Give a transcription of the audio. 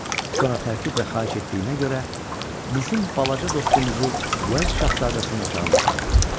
Sonra təkidlə xahiş etdiyinə görə bizim balaca dostumuzu Uels şahzadəsinin otağına apardılar.